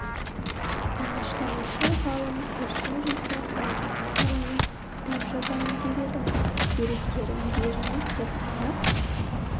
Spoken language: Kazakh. алаштанушы ғалым тұрсын жұртбай халел аға туралы кітап жазайын деп едім деректерін беріңіз деп араб